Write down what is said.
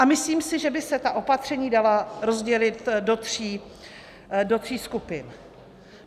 A myslím si, že by se ta opatření dala rozdělit do tří skupin.